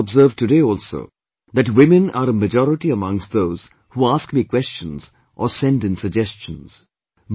And you must have observed today also that women are a majority amongst those who ask me questions or send in suggestions